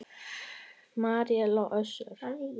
Marel og Össur.